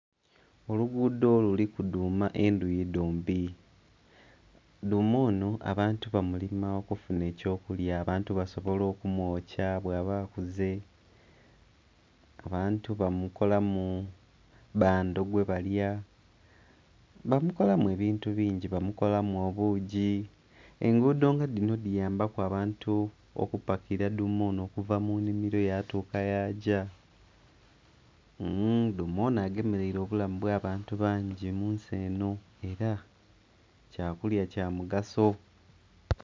Oluguudo luliku dhuuma endhuyi dhombi. Dhuuma onho abantu bamulima okufuna eky'okulya, abantu basobola okumwokya bwaba akuze, abantu bamukolamu bbando gwebalya, bamukolamu ebintu bingi- bamukolamu obuugi. Enguudo nga dhino dhiyambaku abantu okupakila dhuuma onho okuva mu nnhimiro okutuuka yagya. Dhuuma onho agemeleire obulamu bw'abantu bangi mu nsi enho. Ela kyakulya kya mugaso.